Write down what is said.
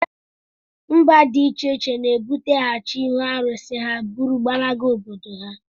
Mba dị iche iche na-ebuteghachi ihu arụsị ha bụrụ gbalaga obodo ha